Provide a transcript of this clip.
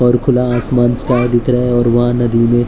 और खुला आसमान स्काय दिख रहा है और वहां नदी में--